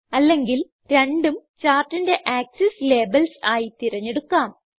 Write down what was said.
അല്ലെങ്കിൽ രണ്ടും ചാർട്ടിന്റെ ആക്സസ് ലേബൽസ് ആയി തിരഞ്ഞെടുക്കാം